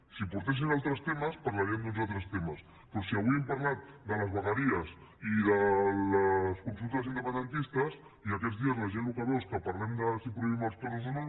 si portessin altres temes parlaríem d’uns altres temes però si avui hem parlat de les vegueries i de les consultes independentistes i aquests dies la gent el que veu és que parlem de si prohibim els toros o no